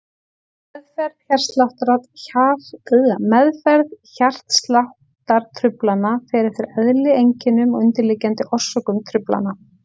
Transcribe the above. Meðferð hjartsláttartruflana fer eftir eðli, einkennum og undirliggjandi orsökum truflana.